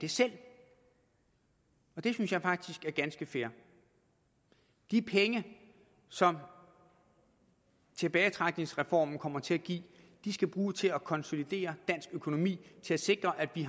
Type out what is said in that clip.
selv og det synes jeg faktisk er ganske fair de penge som tilbagetrækningsreformen kommer til at give skal bruges til at konsolidere dansk økonomi og til at sikre at vi